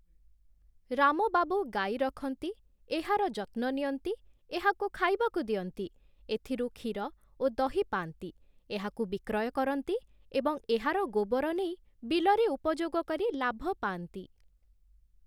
ରାମ ବାବୁ ଗାଈ ରଖନ୍ତି, ଏହାର ଯତ୍ନ ନିଅନ୍ତି, ଏହାକୁ ଖାଇବାକୁ ଦିଅନ୍ତି, ଏଥିରୁ କ୍ଷୀର ଓ ଦହି ପାଆନ୍ତି, ଏହାକୁ ବିକ୍ରୟ କରନ୍ତି ଏବଂ ଏହାର ଗୋବର ନେଇ ବିଲରେ ଉପଯୋଗ କରି ଲାଭ ପାଆନ୍ତି ।